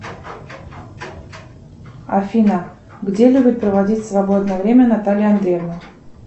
афина где любит проводить свободное время наталья андреевна